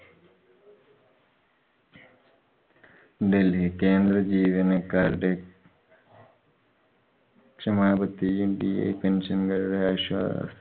ഡല്‍ഹി കേന്ദ്ര ജീവനക്കാരുടെ ക്ഷമാപത്തിയും pension കാരുടെ